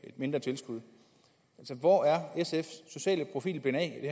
mindre tilskud hvor er sfs sociale profil blevet af i